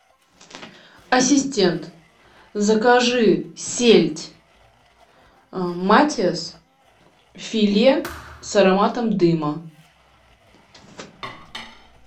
ассистент закажи сельдь матиас филе с ароматом дыма